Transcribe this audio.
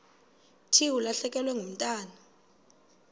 thi ulahlekelwe ngumntwana